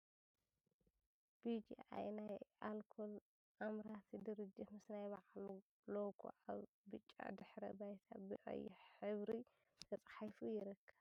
ቢ ጅ ኣይ ናይ ኣልኮል ኣምራቲ ድርጂት ምስ ናይ ብዕሉ ሎጎ ኣብ ብጫ ድሕረ ባይታ ብ ቀይሕ ሕብሪ ተፃሒፉ ይርከብ ።